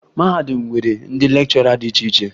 Mahadum nwere ndị lekchọra dị iche iche